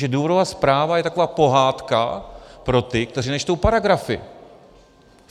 Jenže důvodová zpráva je taková pohádka pro ty, kteří nečtou paragrafy.